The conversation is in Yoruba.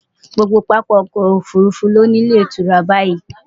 Gbogbo pápá okò òfurufú ni ó ní ilétùura báyií.